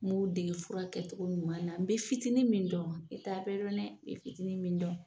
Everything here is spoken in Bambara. N mun dege fura kɛcogo ɲuman na, n bɛ fitinin min dɔn, i t'a bɛ dɔn dɛ, i bi fitinin min dɔn